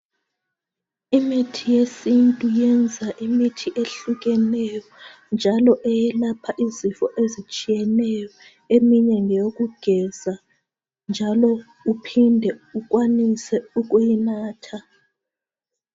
Imithi yesintu yenza imithi ehlukeneyo njalo yelapha izifo ezitshiyeneyo eminye ngeyokugeza njalo uphinde ukwanise ukuyinatha